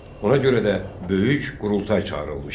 Ona görə də böyük qurultay çağırılmışdı.